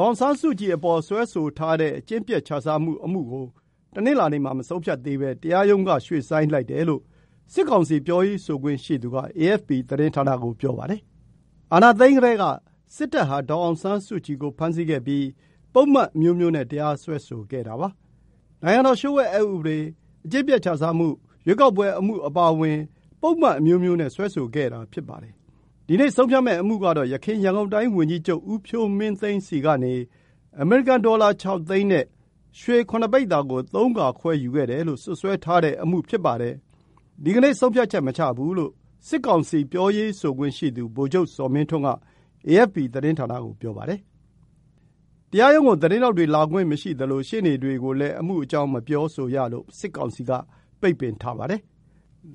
ောင်ဆန်းစုကြည်ကို စွဲဆိုထားတဲ့ အကျင့်ပျက်ခြစားမှုကို တနင်္လာနေ့မှာ မဆုံးဖြတ်သေးဘဲ တရားရုံးက ရွှေ့ဆိုင်းလိုက်တယ်လို့ စစ်ကောင်စီ ပြောရေးဆိုခွင့်ရှိသူက အေအက်ဖ်ပီသတင်းဌာနကို ပြောပါတယ်။ အာဏာသိမ်းကတည်းက စစ်တပ်ဟာ ဒေါ်အောင်ဆန်းစုကြည်ကို ဖမ်းဆီးခဲ့ပြီး ပုဒ်မအမျိုးမျိုးနဲ့ တရားစွဲဆိုခဲ့တာပါ။ နိုင်ငံတော်လျှို့ဝှက်အက်ဥပဒေ၊ အကျင့်ပျက် ခြစားမှု၊ ရွေးကောက်ပွဲအမှု အပါအဝင် ပုဒ်မအမျိုးမျိုးနဲ့ စွဲဆိုခဲ့တာ ဖြစ်ပါတယ်။ ဒီနေ့ ဆုံးဖြတ်မယ့်အမှုကတော့ ယခင် ရန်ကုန်တိုင်း ဝန်ကြီးချုပ် ဦးဖြိုးမင်းသိန်း ဆီကနေ အမေရိကန် ဒေါ်လာ ၆ သိန်း နဲ့ ရွှေ ၇ ပိဿာ ကို ၃ ခါ ခွဲယူခဲ့တယ်လို့ စွပ်စွဲထားတဲ့အမှု ဖြစ်ပါတယ်။ “ဒီကနေ့ ဆုံးဖြတ်ချက် မချဘူး” လို့ စစ်ကောင်စီ ပြောရေးဆိုခွင့် ရှိသူ ဗိုလ်ချုပ် ဇော်မင်းထွန်းက အေအက်ဖ်ပီ သတင်းဌာန ကို ပြောပါတယ်။ တရားရုံး ကို သတင်းထောက်တွေ လာခွင့် မရှိသလို ရှေ့နေတွေကိုလည်း အမှုအကြောင်း မပြောဆိုရလို့ စစ်ကောင်စီက ပိတ်ပင်ထားပါတယ်။